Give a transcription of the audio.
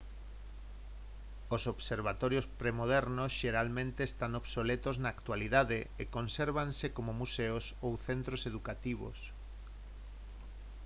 os observatorios premodernos xeralmente están obsoletos na actualidade e consérvanse como museos ou centros educativos